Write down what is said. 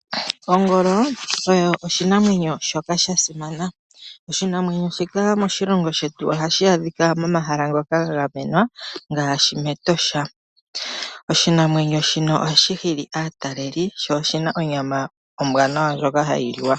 Ongolo oyo oshinamwenyo shoka shasimana . Oshinamwenyo shika moshilongo shetu ohashi adhika momahala ngoka ga gamenwa ngaashi metosha. Oshinamwenyo shino ohashi hili aataleli sho oshina onyama ombwanawa ndjoka hayi liwa.